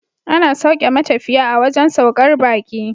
Ana sauke matafiya a wajan saukar baki